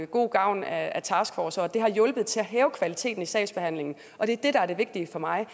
god gavn af en taskforce og at det har hjulpet til at hæve kvaliteten i sagsbehandlingen og det er det der er det vigtige for mig